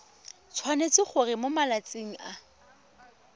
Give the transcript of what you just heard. tshwanetse gore mo malatsing a